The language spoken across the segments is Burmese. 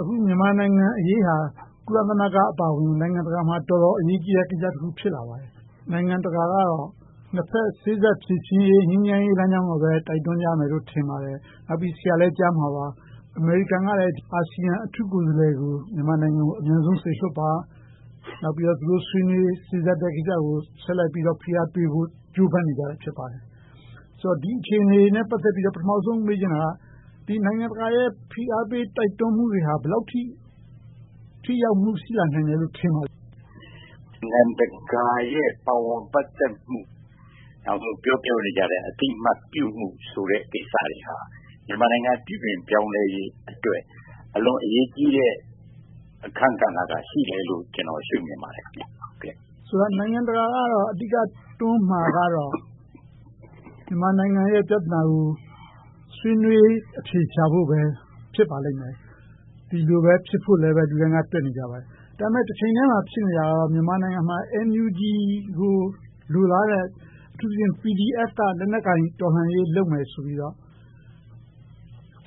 အခုမြန်မာနိုင်ငံအရေးဟာ ကုလသမဂ္ဂအပါအဝင် နိုင်ငံတကာမှာ တော်တော်အရေးကြီးတဲ့ ကိစ္စတခု ဖြစ်လာပါတယ်။ နိုင်ငံတကာကတော့ နှစ်ဘက်စေ့စပ်ဖြေရှင်းရေး၊ ငြိမ်းချမ်းရေးလမ်းကြောင်းကိုပဲ တိုက်တွန်းကြမယ် ထင်ပါတယ်။ နောက်ပြီးတော့ ဆရာလည်းကြားမှာပါ အမေရိကန်က အာဆီယံအထူးကိုယ်စားလှယ်ကို မြန်မာနိုင်ငံကို အမြန်ဆုံးစေလွှတ်ပါ။ နောက်ပြီးတော့ သူတို့စေ့စပ်ဆွေးနွေးမယ့်ကိစ္စကို ဆက်ပြီးတော့ ဖိအားပေးဖို့ ဆက်လက်ကြိုးစားနေတာ ဖြစ်ပါတယ်။ ဆိုတော့ ဒီအခြေအနေတွေနဲ့ ပတ်သက်ပြီးတော့ ပထမဦးဆုံး မေးချင်တာက နိုင်ငံတကာရဲ့ ဖိအားပေးတိုက်တွန်းမှုတွေဟာ ဘယ်လောက်အထိ ထိရောက်မှု ရှိလာနိုင်သလဲလို့ ထင်ပါသလဲ။ ဖြေ ။ ။ နိုင်ငံတကာရဲ့ ပါဝင်ပတ်သက်မှု၊ အသိအမှတ်ပြုမှုကိစ္စတွေဟာ မြန်မာနိုင်ငံ ပြုပြင်ပြောင်းလဲရေးအတွက် အလွန်အရေးကြီးတဲ့ အခန်းကဏ္ဍက ရှိတယ်လို့ ကျနော် ရှုမြင်ပါတယ်။ မေး ။ ။ ဆိုတော့ နိုင်ငံတကာက အဓိကတွန်းမှာကတော့ မြန်မာနိုင်ငံရဲ့ ပြဿနာကို ဆွေးနွေးအဖြေရှာဖို့ပဲ ဖြစ်ပါလိမ့်မယ်။ ဒီလိုပဲဖြစ်ဖို့အတွက် အများကတွက်နေကြပါတယ်။ ဒါပေမဲ့ တချိန်တည်းမှာ ဖြစ်နေတာက မြန်မာနိုင်ငံမှာ NUG ကို လိုလားတဲ့ အထူးသဖြင့် PDF က လက်နက်ကိုင်တော်လှန်ရေး လုပ်မယ်ဆိုပြီးတော့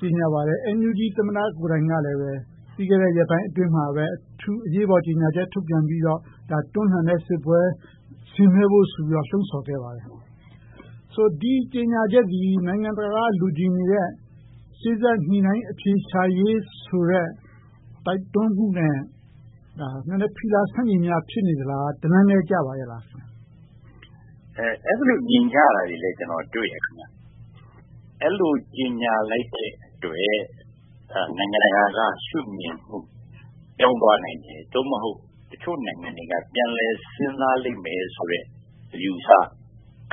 ကြေညာပါတယ်။ NUG သမ္မတကိုယ်တိုင်ကလည်း ပြီးခဲ့တဲ့ ရက်ပိုင်းအတွင်းမှာပဲ အထူးအရေးပေါ် ကြေညာချက် ထုတ်ပြန်ပြီးတော့ တွန်းလှန်တဲ့စစ်ပွဲ ဆင်နွှဲဖို့ဆိုပြီးတော့ လှုံဆော်ခဲ့ပါတယ်။ ဆိုတော့ ဒီကြေညာချက်သည် နိုင်ငံတကာက လိုချင်နေတဲ့ စေ့စပ်ညှိနှိုင်းအဖြေရှာရေးဆိုတဲ့ တိုက်တွန်းမှုနဲ့ နည်းနည်းဖီလာဆန့်ကျင်မှုများ ဖြစ်နေမလား။ တလမ်းတည်းကျပါရဲ့လား။ ဖြေ ။ ။ အဲဒီလို မြင်ကြတာတွေလည်း ကျနော်တွေ့တယ်။ အဲဒီလိုကြေညာလိုက်တဲ့အတွက် နိုင်ငံတကာက ရှုမြင်မှု ပြောင်းသွားနိုင်တယ်။ သို့မဟုတ် တချို့နိုင်ငံတွေက ပြန်လည်စဉ်းစားလိမ့်မယ်ဆိုတဲ့ အယူအဆ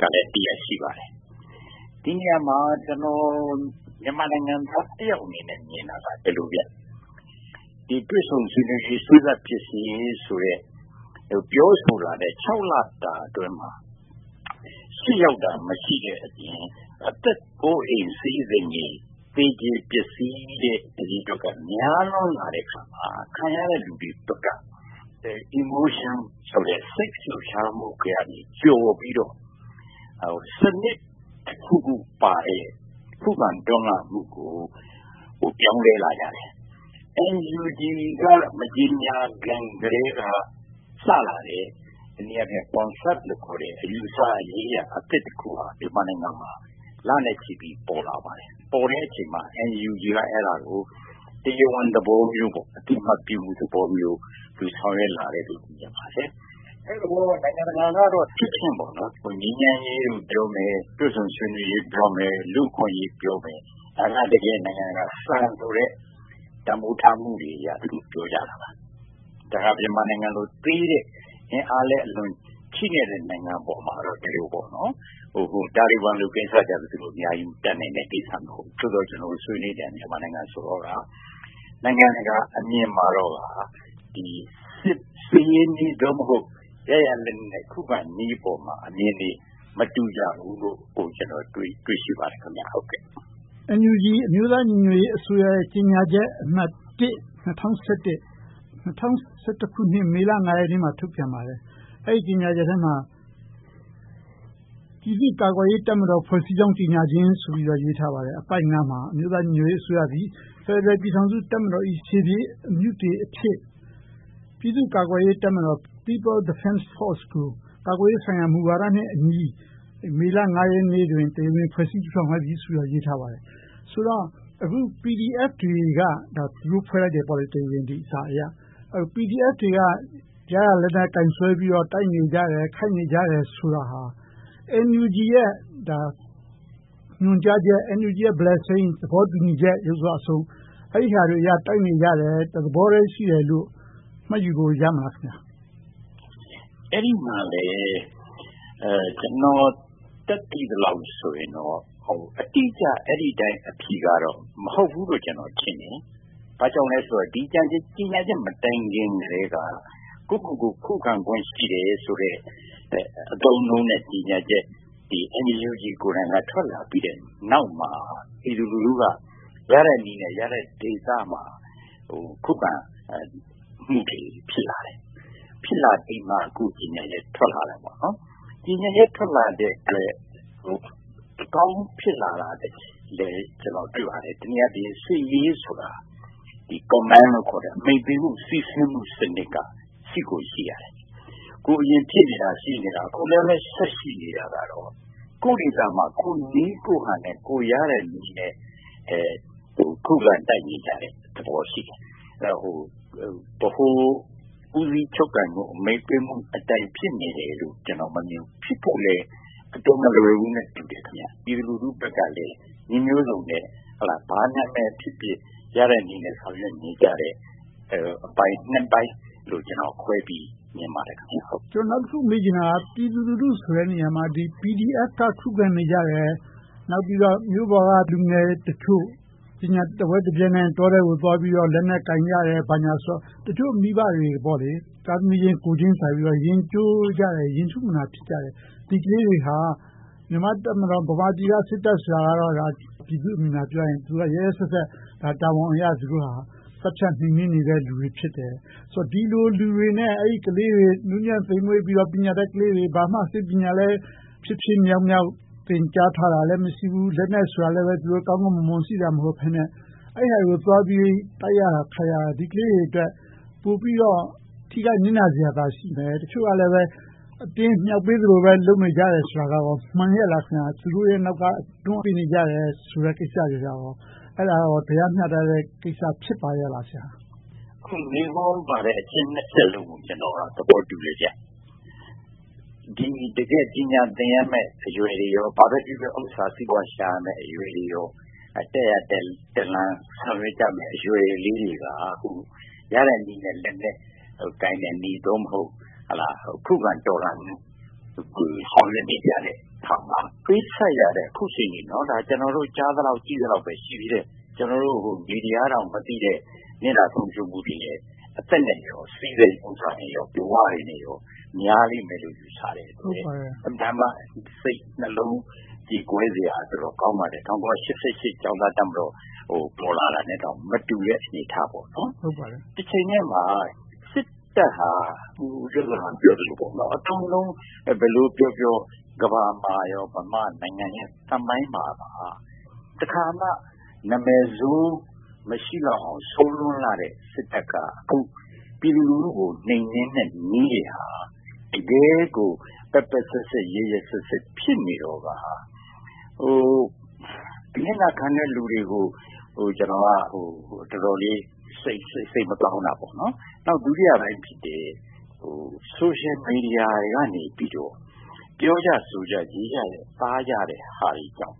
တရပ်လည်း ရှိပါတယ်။ ဒီနေရာမှာ ကျနော် မြန်မာနိုင်ငံသားတယောက်အနေနဲ့ မြင်တာက ဒီလိုပါ - တွေ့ဆုံဆွေးနွေးရေး၊ စေ့စပ်ဖြေရှင်းရေးဆိုတဲ့ ပြောဆိုတာက ခြောက်လတာအတွင်းမှာ ရှေ့ရောက်တာ မရှိတဲ့အပြင်၊ အသက်အိုးအိမ်စည်စိမ်တွေ သေကြေပျက်ဆီးတာတွေ များလာတဲ့အခါမှာ ခံရတဲ့လူတွေဘက်က emotion စိတ်ခံစားမှုကနေကျော်ပြီးတော့ စနစ်တခုခုပါတဲ့ ခုခံတော်လှန်မှုကို ပြောင်းလဲလာကြတယ်။ NUG မကြေညာခင်ကတည်းက စလာတဲ့ တနည်းအားဖြင့် concept လို့ခေါ်တဲ့ အယူအဆရေးရာတခုက မြန်မာနိုင်ငံမှာ လနဲ့ချီပြီးတော့ ပေါ်လာပါတယ်။ ပေါ်တဲ့အချိန်မှာ NUG က အဲဒါကို တရားဝင်သဘောမျိုး၊ အသိအမှတ်ပြုမှုသဘောမျိုး ဆောင်ရွက်လာတယ်လို့ မြင်ပါတယ်။ နိုင်ငံတကာကတော့ ငြိမ်းချမ်းရေးကိုပြောမယ်၊ တွေ့ဆုံဆွေးနွေးရေးကိုပြောမယ်၊ လူ့အခွင့်အရေးကိုပြောမယ်။ ဒါတွေက နိုင်ငံတကာရဲ့ စံတန်းဖိုးထားမှုတွေအရ သူတို့ကပြောကြတာပါ။ တခါ မြန်မာနိုင်ငံလိုသေးတဲ့၊ အင်အားလည်း ချည့်နဲ့တဲ့ နိုင်ငံပေါ်ကိုတော့ ဒီလိုပေါ့။ တာလီဘန်လို ကိစ္စမျိုးတော့ သူတို့အများကြီး တတ်နိုင်တဲ့ကိစ္စ မဟုတ်ဘူး။ မြန်မာနိုင်ငံကိုတော့ နိုင်ငံတကာအမြင်မှာ စစ်ရေးနည်း ရရာလက်နက်နဲ့ ခုခံနည်းပေါ်မှာ အမြင်တွေမတူကြဘူးလို့ ကျနော် တွေ့ရှိပါတယ်။ မေး ။ ။ NUG အမျိုးသားညီညွတ်ရေးအစိုးရရဲ့ ကြေညာချက်အမှတ် မေလ ရက်နေ့မှာ ထုတ်ပြန်ပါတယ်။ အဲဒီကြေညာချက်ထဲမှာ ပြည်သူ့ကာကွယ်ရေးတပ်မတော် ဖွဲ့စည်းကြောင်း ကြေညာခြင်းဆိုပြီးတော့ ရေးထားပါတယ်။ အပိုဒ် မှာ အမျိုးသားညီညွှတ်ရေးအစိုးရသည် ဖယ်ဒရယ်ပြည်ထောင်စု တပ်မတော်၏ ရှေ့ပြေးအမြုတေအဖြစ် ပြည်သူ့ကာကွယ်ရေးတပ်မတော် ကို ကာကွယ်ရေးဆိုင်ရာ မူဝါဒနဲ့အညီ မေလ ရက်နေ့တွင် တရားဝင်ဖွဲ့စည်းလိုက်သည်ဆိုတာကို ရေးထားလိုက်ပါတယ်။ ဆိုတော့ အခု PDF တွေက ဒီစာအရ တရားဝင်ဖွဲ့စည်းလိုက်တယ်။ PDF တွေက ရရာလက်နက်ကိုင်ဆွဲပြီးတော့ တိုက်နေကြတယ်၊ ခိုက်နေကြတယ်ဆိုတာဟာ NUG ရဲ့ ညွှန်ကြားချက်၊ NUG ရဲ့ blessing သဘောတူညီချက်အရ တိုက်နေရတယ်။ တသဘောတည်းရှိတယ်လို့ မှတ်ယူလို့ ရမလား။ ဖြေ ။ ။ အဲဒီမှာလည်း ကျနော်တတ်သိသလောက်ဆိုရင်တော့ အတိအကျ အဲဒီအတိုင်း အဖြေကတော့ မဟုတ်ဘူးလို့ ကျနော်ထင်တယ်။ ဘာကြောင့်လဲဆိုတော့ ဒီကြေညာချက် မတိုင်မီကတည်းက ကိုယ့်ကိုယ်ကို ခုခံပိုင်ခွင့်ရှိတယ်ဆိုတဲ့ အသုံးအနှုန်းနဲ့ ကြေညာချက်တွေ NUG ကိုယ်တိုင်က ထွက်လာပြီးနောက်မှာ ပြည်သူလူထုက ရတဲ့နည်းနဲ့ ရတဲ့ဒေသမှာ ခုခံမှုတွေ ဖြစ်လာတယ်။ ဖြစ်လာပြီးမှ အခုကြေညာချက် ထွက်လာတယ်။ ကြေညာချက် ထွက်လာတဲ့အတွက် တပေါင်းတည်းဖြစ်လာတာကို ကျနော်တွေ့ပါတယ်။ တနည်းအားဖြင့် စစ်ရေးဆိုတာ command လို့ခေါ်တဲ့ အမိန့်ပေးမှု စီးဆင်းမှုစနစ်က ရှိကိုရှိရတယ်။ ဟိုအရင်ဖြစ်နေတာ၊ ရှိနေတာ အခုလဲပဲ ဆက်ရှိနေတာကတော့ ကိုယ့်အရပ်ဒေသမှာ ကိုယ့်နည်းကိုယ်ဟန်နဲ့ ရတဲ့နည်းနဲ့ ခုခံတိုက်နေကြတဲ့သဘောရှိတယ်။ ဗဟိုဦးစီးချုပ်ကိုင်မှု၊ အမိန့်ပေးမှုအတိုင်း ဖြစ်နေတယ်လို့ ကျနော် မမြင်ဘူး။ ဖြစ်ဖို့လဲ အတော်မလွယ်ဘူးလို့ ထင်တယ်။ ပြည်သူလူထုဘက်ကလည်း နည်းမျိုးစုံနဲ့ ဘာနာမည်ဖြစ်ဖြစ် ရတဲ့နည်းနဲ့ ဆောင်ရွက်နေကြတဲ့ အပိုင်း ပိုင်းနဲ့ ခွဲပြီးတော့ ကျနော် မြင်ပါတယ်။ မေး ။ ။ ကျနော် နောက်တခုမေးချင်တာက ပြည်သူလူထုဆိုတဲ့နေရာမှာ PDF က ခုခံနေကြတယ်။ နောက်ပြီးတော့ မြို့ပေါ်က လူငယ်တွေတချို့ ပညာတဝက်တပျက်နဲ့ တောထဲကိုသွားပြီးတော့ လက်နက်ကိုင်ကြတယ်။ တချို့မိဘတွေက သားသမီးချင်း ကိုယ်ချင်စာပြီးတော့ ရင်ကျိုးကြတယ်၊ ရင်ထုမနာ ဖြစ်ကြတယ်။ ဒီကလေးတွေဟာ မြန်မာ့တပ်မတော်၊ ဗမာပြည်က စစ်တပ်ဆိုတာက ပြည်သူ့အမြင်အရ ပြောရရင် သူက ရက်ရက်စက်စက် တာဝန်အရ သတ်ဖြတ်နှိမ်နင်းနေတဲ့လူတွေ ဖြစ်တယ်။ ဒီလိုလူတွေနဲ့ အင်မတန်နုညံ့သိမ်မွှေ့ကြတဲ့ ပညာတတ်လူငယ်လေးတွေ၊ ဘာမှစစ်ပညာလည်း ဖြစ်ဖြစ်မြောက်မြောက် သင်ကြားထားတာလည်း မရှိဘူး။ လက်နက်ဆိုတာလည်း ကောင်းကောင်းမွန်မွန် ရှိတာမဟုတ်ဘဲနဲ့ အဲဒါတွေကိုသွားပြီးတော့ တိုက်ရခိုက်ရတာ ဒီကလေးတွေအတွက် ပိုပြီးတော့ ထိခိုက်နစ်နာစရာသာ ရှိမယ်။ တချို့ကလဲ အတင်းမြှောက်ပေးသလိုပဲ လုပ်နေကြတယ်ဆိုတာကော မှန်ရဲ့လား။ သူတို့ရဲ့နောက်ကနေ တွန်းပေးနေကြတယ်ဆိုတဲ့ ကိစ္စတွေက တရားမျှတတဲ့ကိစ္စ ဖြစ်ပါရဲ့လား။ ဖြေ ။ ။ အခုမေးခွန်းမှာပါတဲ့ အချက် ချက်လုံးကို ကျနော်က သဘောတူတယ်။ တကယ့် ပညာသင်ရမယ့် အရွယ်တွေ၊ ဘာပဲဖြစ်ဖြစ် ဥစ္စာစီးပွားရှာရမယ့် အရွယ်တွေ၊ တက်ရာတက်လမ်း ရှာရမယ့် အရွယ်လေးတွေက အခုရတဲ့နည်းနဲ့ လက်နက်ကိုင်တဲ့နည်း ခုခံတော်လှန်နေကြတဲ့ဟာက ပေးဆပ်ရတာ ကျနော်တို့ ကြားသလောက် သိသလောက်ပဲ ရှိတာ။ ကျနော်တို့ မီဒီယာကတောင် မသိတဲ့ နစ်နာဆုံးရှုံးမှုတွေက အသက်၊ စည်စိမ်ဥစ္စာတွေ၊ ဘဝတွေ များပေမယ်လို့ ယူဆရပေမယ့် အင်မတန်မှ စိတ်နှလုံးကြေကွဲစရာ ကောင်းပါတယ်။ ၁၉၈၈ ကျောင်းသားတပ်မတော် ပေါ်လာတာနဲ့တောင် မတူတဲ့အနေအထား။ တချိန်တည်းမှာ စစ်တပ်ဟာ ဦးကျော်ဇံသာ ပြောသလို အသုံးအနှုန်း ဘယ်လိုပြောပြော ကမ္ဘာမှာရော၊ မြန်မာနိုင်ငံရဲ့ သမိုင်းမှာပါ တခါမှ နာမည်ဆိုး မရှိလောက်အောင် ဆိုးလွန်လှတဲ့ စစ်တပ်က အခုပြည်သူလူထုကို နှိမ်နင်းတဲ့နည်းတွေဟာ တကယ့်ကို ပက်ပက်စက်စက်၊ ရက်ရက်စက်စက် ဖြစ်နေတော့ကာ အနစ်နာခံနေတဲ့ လူတွေကို ကျနော်က တော်တော်လေး စိတ်မကောင်းတာ။ နောက် ဒုတိယပိုင်းဖြစ်တဲ့ social media ကနေ ပြောကြဆိုကြရေးကြတဲ့ဟာတွေကြောင့်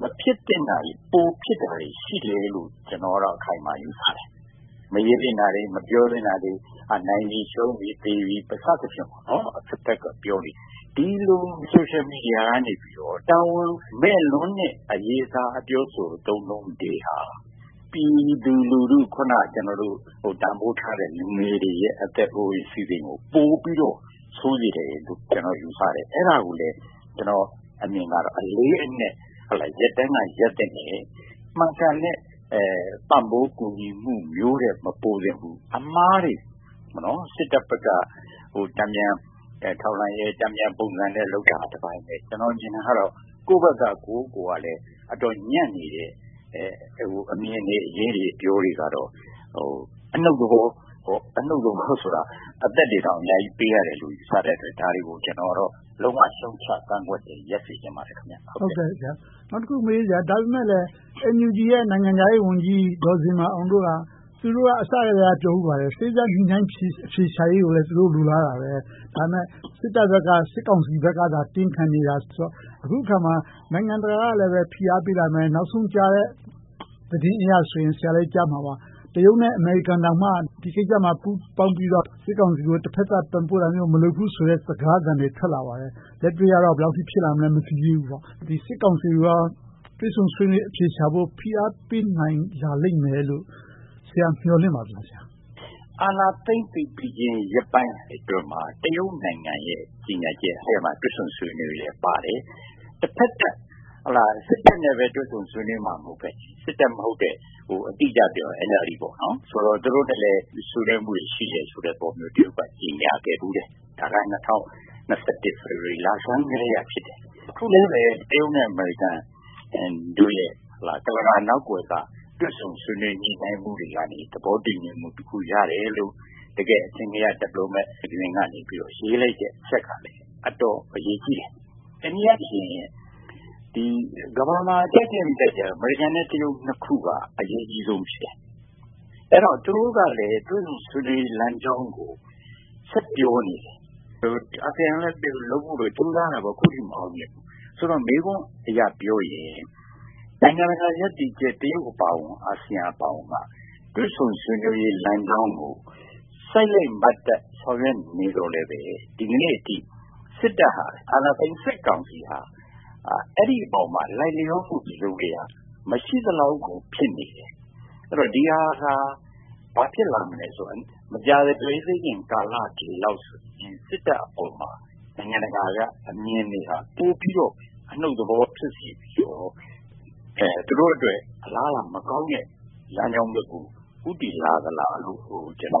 မဖြစ်သင့်တာတွေ ပိုဖြစ်တာတွေ ရှိတယ်လို့ ကျနော်ကတော့ အခိုင်အမာယူဆတယ်။ မရေးသင့်တာတွေ၊ မပြောသင့်တာတွေ၊ နိုင်ပြီရှုံးပြီ၊ သေပြီ စသည်ဖြင့် အဘက်ဘက်က ပြောနေကြတယ်။ ဒီလို social media ကနေ တာဝန်မဲ့လွန်တဲ့ အရေးအသား၊ အပြောအဆို၊ အသုံးအနှုန်းတွေဟာ ပြည်သူလူထု၊ အခုန ကျနော်တို့ တန်းဖိုးထားတဲ့ လူငယ်တွေရဲ့ အသက်အိုးအိမ်စည်စိမ်ကို ပိုပြီးတော့ ဆိုးစေတယ်လို့ ကျနော်က ယူဆတယ်။ အဲဒါကိုလဲ ကျနော့်အမြင်ကတော့ အလေးအနက် ရပ်တန်းကရပ်သင့်တယ်။ မှန်ကန်တဲ့ ပံ့ပိုးကူညီမှုမျိုးထက် မပိုသင့်ဘူး။ အမှားတွေ စစ်တပ်ဘက်က တန်ပြန်ထောက်လှမ်းရေး၊ တန်ပြန်ပုံစံနဲ့ လုပ်တာကတပိုင်း။ ကျနော် မြင်တာကတော့ ကိုယ့်ဘက်ကကိုယ်တိုင်လည်း အတော်ညံ့နေတဲ့ အမြင်တွေ၊ အပြောတွေ၊ အရေးတွေကတော့ အနုတ်သဘော အသက်တွေတောင် အများကြီးပေးရတယ်လို့ ယူဆတဲ့အတွက် ကျနော်ကတော့ လုံးဝရှုတ်ချကန့်ကွက်တယ်၊ ရပ်စေချင်ပါတယ်။ မေး ။ ။ နောက်တခုမေးချင်တာက NUG ရဲ့ နိုင်ငံခြားရေးဝန်ကြီး ဒေါ်ဇင်မာအောင်တို့က သူတို့က အစကတည်းက ပြောဆိုခဲ့ပါတယ်။ စေ့စပ်ညှိနှိုင်းအဖြေရှာရေးကိုလည်း သူတို့ လိုလားပါတယ်။ ဒါပေမဲ့ စစ်တပ်ဘက်က စစ်ကောင်စီဘက်က တင်းခံနေတာ။ အခုအခါမှာ နိုင်ငံတကာကလည်း ဖိအားပေးလာမယ်။ နောက်ဆုံးကြားတဲ့ သတင်းအရဆိုရင် - ဆရာလည်း ကြားမှာပါ - တရုတ်နဲ့ အမေရိကန်သာ ဒီကိစ္စမှာ ပူးပေါင်းပြီးတော့ စစ်ကောင်စီကို တဘက်သတ် ပံ့ပိုးလုပ်ဆောင်မှာ မဟုတ်ဘူးဆိုတဲ့ စကားသံတွေ ထွက်လာပါတယ်။ လက်တွေ့ကတော့ ဘယ်လောက်အထိ ဖြစ်လာနိုင်မလဲ မသိသေးဘူးပေါ့။ စစ်ကောင်စီကို တွေ့ဆုံဆွေးနွေးအဖြေရှာဖို့ ဖိအားပေးလာနိုင်မယ်လို့ ဆရာ မျှော်လင့်ပါသလား။ ဖြေ ။ ။ အာဏာသိမ်းပြီးပြီချင်း ရက်ပိုင်းအတွင်းမှာ တရုတ်နိုင်ငံရဲ့ ကြေညာချက်ထဲမှာ တွေ==့ဆုံဆွေးနွေးရေးလည်းပါတယ်။ တဘက်သတ် စစ်တပ်နဲ့ပဲ တွေ့ဆုံဆွေးနွေးမှာ မဟုတ်ဘဲ၊ စစ်တပ်မဟုတ်တဲ့ အတိအကျပြောရင် NLD နဲ့လည်း ဆွေးနွေးမှုတွေ ရှိတယ်ဆိုတဲ့ သဘောမျိုး တရုတ်က ကြေညာခဲ့တယ်။ ဒါက ၂၀၂၁ ဖေဖေါ်ဝါရီလ လဆန်းပိုင်းကတည်းက ဖြစ်တယ်။ အခုလဲပဲ တရုတ်နဲ့ အမေရိကန်တို့ရဲ့ ကန့်လန့်ကာနောက်ကွယ်က တွေ့ဆုံဆွေးနွေးညှိနှိုှုင်းမှုတွေကနေ သဘောတူညီမှုတခု ရတယ်လို့ တကယ့် အထင်ကရ diplomat တွေက ရေးလိုက်တဲ့အချက်က အတော်အရေးကြီးတယ်။ တနည်းအားဖြင့် ကမ္ဘာပေါ်မှာ ကြိုက်ကြိုက်မကြိုက်ကြိုက် အမေရိကန်နဲ့ တရုတ်တို့က အရေးကြီးဆုံး ဖြစ်တယ်။ အဲဒါကြောင့် သူတို့ကလည်း တွေ့ဆုံဆွေးနွေးရေးလမ်းကြောင်းကို ဆက်ပြောနေတယ်။ အာဆီယံကလည်း လုပ်ဖို့ကြိုးစားပေမယ့် အခုထိ မအောင်သေးဘူး။ ဆိုတော့ မေးခွန်းအရပြောရင် နိုင်ငံတကာရပ်တည်ချက် တရုတ်အပါအဝင် အာဆီယံအပါအဝင်က တွေ့ဆုံဆွေးနွေးရေးလမ်းကြောင်းကို စိုက်လိုက်မတ်တပ် ဆောင်ရွက်နေပေမယ့် ဒီနေ့အထိ စစ်တပ်ဟာ၊ အာဏာသိမ်းစစ်ကောင်စီက အဲဒီအပေါ်မှာ လိုက်လျောမှု တစုံတရာ မရှိသလောက်ကို ဖြစ်နေတယ်။ အဲဒီတော့ ဒီဟာက ဘာဖြစ်လာမလဲဆိုတော့ မကြာသေးခင်က ကာလလောက်အထိ စစ်တပ်အပေါ် နိုင်ငံတကာက အမြင်တွေက ပိုပြီးတော့ အနုတ်သဘော ဖြစ်စေပြီး၊ သူတို့အတွက် အလားအလာမကောင်းတဲ့ လမ်းကြောင်းဘက်ကို ဦးတည်လာသလားလို့ ကျနော်က